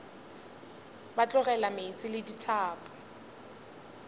ba tlogela meetse le dithapo